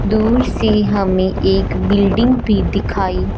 दूर से हमें एक बिल्डिंग भी दिखाई--